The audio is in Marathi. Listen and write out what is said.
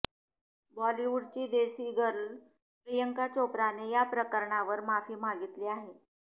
बॉलिवूडची देसी गर्ल प्रियंका चोप्राने या प्रकरणावर माफी मागितली आहे